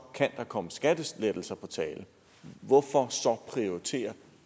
kan der komme skattelettelser på tale hvorfor så prioritere